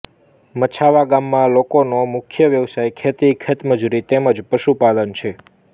મછાવા ગામના લોકોનો મુખ્ય વ્યવસાય ખેતી ખેતમજૂરી તેમ જ પશુપાલન છે